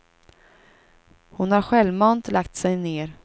Hon har självmant lagt sig ner.